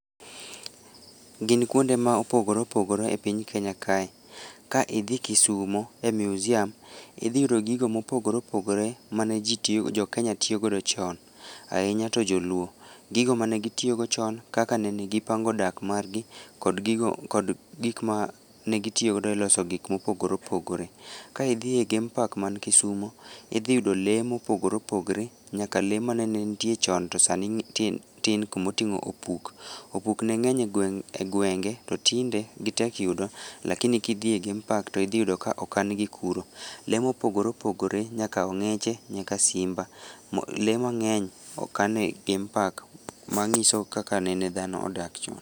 Gin kuonde ma opogore opogore e piny Kenya kae. Ka idhi kisumo, e museum, idhi yudo gigo mopogore opogore mane ji tiyo jo kenya tiyo godo chon, ahinya to joluo. Gigo mane gitiyo go chon kaka negipango dak margi kog gigo kod gik mane gitiyogodo loso gik mopogore opogore. Kaa idhie game park man kisumo, idhi yudo lee mopogore opogore nyaka lee mane nitie chon to sani tin, tin kumoting’o opuk. Opuk ne ng'eny e gweng, e gwenge to tinde gitek yudo lakini kidhi e game park to idhi yudo ka okan gi kuro. Lee mopogore opogore nyaka ong'eche nyaka simba, lee mangeny okane e game park manyiso kaka nene dhano odak chon.